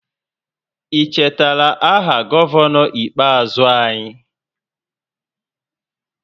Ị chetara aha gọvanọ ikpeazụ anyị?